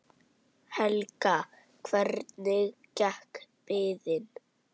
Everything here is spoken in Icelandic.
Helga: Hvernig gekk biðin?